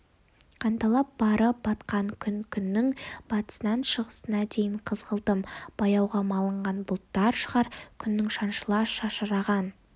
қанталап барып батқан күн күннің батысынан шығысына дейін қызғылтым бояуға малынған бұлттар шығар күннің шаншыла шашыраған